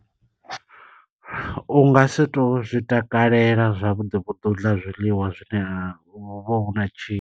U nga si to zwi takalela zwavhuḓi vhuḓi, u ḽa zwiḽiwa zwine huvha na tshi.